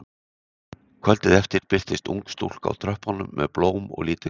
Kvöldið eftir birtist ung stúlka á tröppunum með blóm og lítið kort.